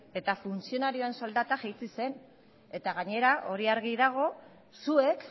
eta funtzionarioen soldata jaitsi zen eta gainera hori argi dago zuek